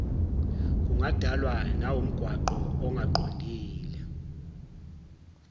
kungadalwa nawumgwaqo ongaqondile